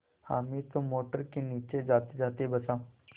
हामिद तो मोटर के नीचे जातेजाते बचा